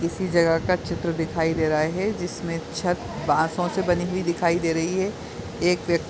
किसी जगह का चित्र दिखाई दे रहा हे जिसमे छत बाँसों से बनी हुई दिखाई दे रही है। एक व्यक्ति--